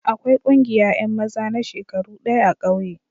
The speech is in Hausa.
Akwai ƙungiya yan maza na shekaru daya a'kauye.